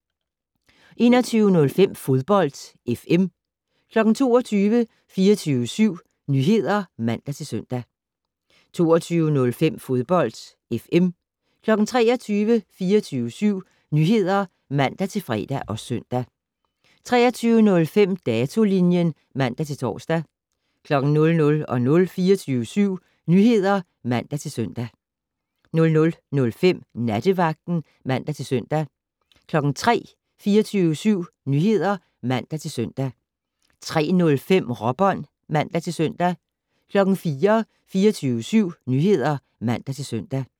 21:05: Fodbold FM 22:00: 24syv Nyheder (man-søn) 22:05: Fodbold FM 23:00: 24syv Nyheder (man-fre og søn) 23:05: Datolinjen (man-tor) 00:00: 24syv Nyheder (man-søn) 00:05: Nattevagten (man-søn) 03:00: 24syv Nyheder (man-søn) 03:05: Råbånd (man-søn) 04:00: 24syv Nyheder (man-søn)